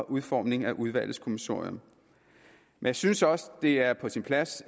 udformningen af udvalgets kommissorium jeg synes også at det er på sin plads